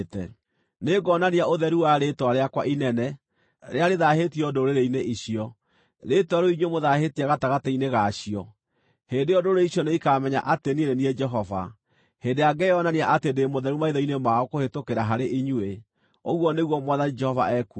Nĩngonania ũtheru wa rĩĩtwa rĩakwa inene, rĩrĩa rĩthaahĩtio ndũrĩrĩ-inĩ icio, rĩĩtwa rĩu inyuĩ mũthaahĩtie gatagatĩ-inĩ ga cio. Hĩndĩ ĩyo ndũrĩrĩ icio nĩikamenya atĩ niĩ nĩ niĩ Jehova, hĩndĩ ĩrĩa ngeyonania atĩ ndĩ mũtheru maitho-inĩ mao kũhĩtũkĩra harĩ inyuĩ, ũguo nĩguo Mwathani Jehova ekuuga.